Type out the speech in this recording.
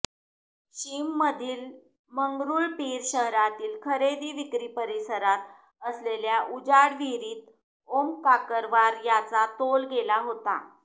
शिममधील मंगरुळपीर शहरातील खरेदी विक्री परिसरात असलेल्या उजाड विहीरीत ओम काकरवार याचा तोल गेला होता